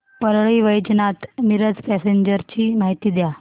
Parli Vaijnath Miraj passenger ची माहिती द्या